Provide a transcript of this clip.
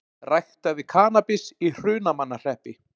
Ræktaði kannabis í Hrunamannahreppi